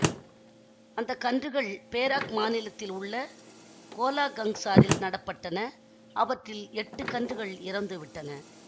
அந்த கன்றுகள் பேராக் மாநிலத்தில் உள்ள கோலாகங்சாரில் நட பட்டன அவற்றில் எட்டு கன்றுகள் இறந்துவிட்டன